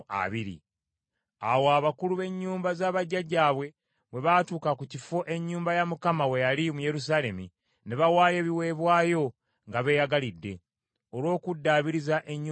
Awo abakulu b’ennyumba z’abajjajjaabwe bwe baatuuka ku kifo ennyumba ya Mukama we yali mu Yerusaalemi, ne bawaayo ebiweebwayo nga beeyagalidde, olw’okuddaabiriza ennyumba ya Katonda.